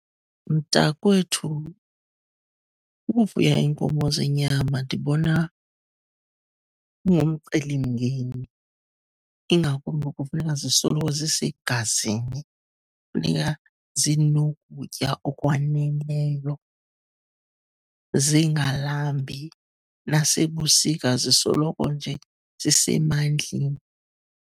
Mntakwethu, ukufuya iinkomo zenyama ndibona kungumcelimngeni, ingakumbi kufuneka zisoloko zisegazini. Kufuneka zinokutya okwaneleyo, zingalambi. Nasebusika, zisoloko nje zisemandleni.